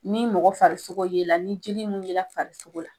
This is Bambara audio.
Ni mɔgɔ farisogo yela ni jeli min yela farisogo la